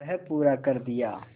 वह पूरा कर दिया